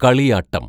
കളിയാട്ടം